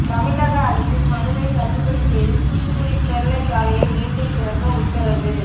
தமிழக அரசின் மனுவை தள்ளுபடி செய்து தூத்துக்குடி ஸ்டெர்லைட் ஆலையை மீண்டும் திறக்க உத்தரவு